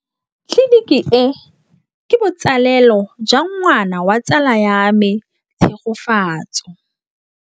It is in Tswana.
Tleliniki e, ke botsalêlô jwa ngwana wa tsala ya me Tshegofatso.